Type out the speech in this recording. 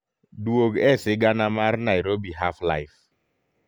duog e sigana mar nairobi half life